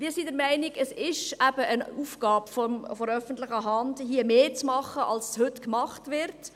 Wir sind der Meinung, es sei eben eine Aufgabe der öffentlichen Hand, hier mehr zu machen als heute gemacht wird.